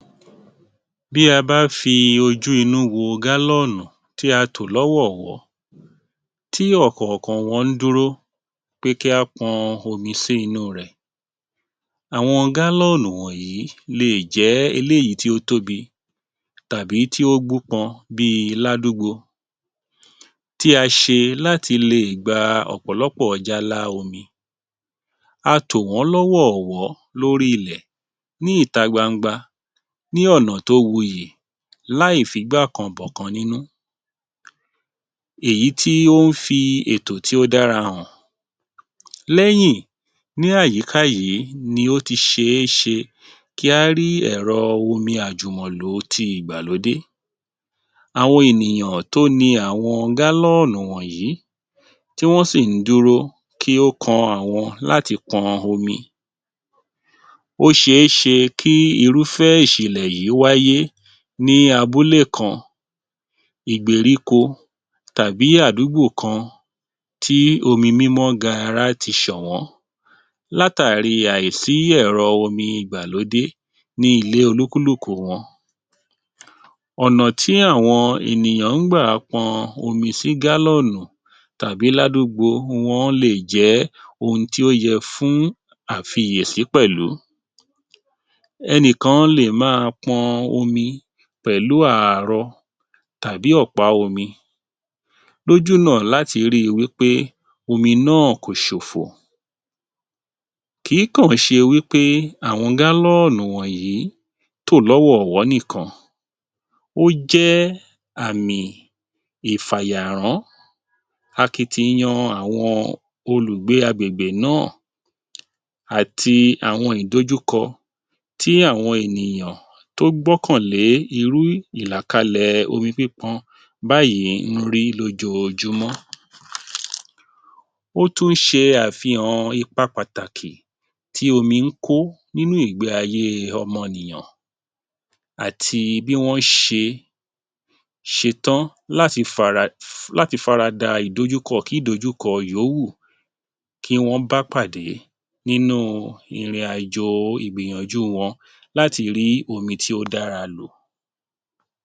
Bí a bá fi ojú inú wo gálọ́ọ̀nù tí a tò lọ́wọ̀wọ́, tí ọ̀kọ̀ọ̀kan wọ́n ń dúró pé kí á pọn omi sí i inú rẹ̀. Àwọn gálọ́ọ̀nù wọ̀nyí lè jẹ́ eléyìí tí ó tóbi tàbí tí ó gbúpọn bíi ládúgbo tí a ṣe láti lè gba ọ̀pọ̀lọpọ̀ jálá omi. A tò wọn lọ́wọ́ọ̀wọ́ lórí ilẹ̀ ní ìta gbangba ní ọ̀nà tó wuyì láì figbákan-bọ̀kan nínú èyí tí ó ń fi ètò tí ó dára hàn. Lẹ́yìn ni àyíká yìí ni ó ti ṣe é ṣe kí á rí ẹ̀rọ omi àjùmọ̀lò ti ìgbàlódé. Àwọn ènìyàn tó ni àwọn gálọ́ọ̀nù wọ̀nyí tí wọ́n sì ń dúró kí ó kan àwọn láti pọn omi, ó ṣe é ṣe kí irúfẹ́ ìṣẹ̀lẹ̀ yìí wáyé ní abúlé kan, ìgbèríko tàbí àdúgbò kan tí omi mímọ́ gaará tí ṣọ̀wọ́ látàrí àìsí èrò omi ìgbàlódé ní ilé olúkúlùkù wọn. Ọ̀nà tí àwọn ènìyàn ń gbà pọn omi sí gálọ́ọ̀nù tàbí ládúgbo wọ́n lè jẹ́ ohun tí ó yẹ fún àfiyèsí pẹ̀lú. Ẹni kan lè máa pọn omi pẹ̀lú ààrọ tàbí ọ̀pá omi lójú náà láti rí i wí pé omi náà kò ṣòfò. Kì í kọ̀ ṣe wí pé àwọn gálọ́ọ̀nù wọ̀nyí tò lọ́wọ́ọ̀wọ́ nìkan, ó jẹ́ àmì ìfàyàrán akitiyan àwọn olùgbé agbègbè náà àti àwọn ìdojúkọ tí àwọn ènìyàn tó gbọ́kànlé irú ìlàkalẹ̀ omi pípọn báyìí ń rí lójoojúmọ́. Ó tún ṣe àfihàn ipa pàtàkì tí omi ń kó nínú ìgbé ayé ọmọ nìyàn àti bí wọ́n ṣe ṣe tán láti farada ìdojúkọ kí ìdojúkọ yóò wù kí wọ́n bá pàdé nínú ìrìnàjò ìgbìyànjú wọn láti rí omi tí ó dára lò.